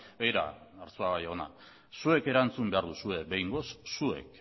begira arzuaga jauna zuek